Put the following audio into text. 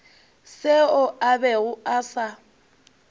seo a bego a sa